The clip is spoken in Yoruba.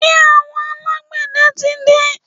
Ṣé àwọn alágbẹ̀dẹ tí dé?